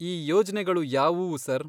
ಈ ಯೋಜ್ನೆಗಳು ಯಾವುವು ಸರ್?